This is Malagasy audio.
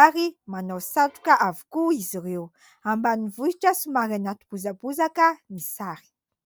ary manao satroka avokoa izy ireo. Ambanivohitra somary anaty bozabozaka ny sary.